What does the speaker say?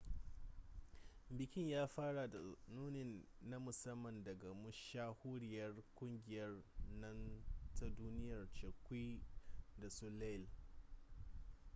bikin ya fara da nuni na musamman daga mashahuriyar kungiyar nan ta duniya cirque du soleil